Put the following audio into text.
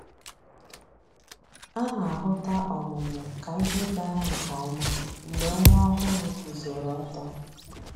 A na-ahụta ọmụmụ k'ihe gara nke ọma mgbe nwa ọhụrụ guzoro ọtọ